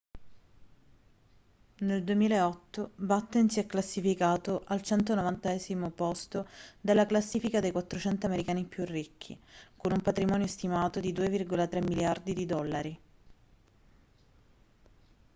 nel 2008 batten si è classificato al 190° posto della classifica dei 400 americani più ricchi con un patrimonio stimato di 2,3 miliardi di dollari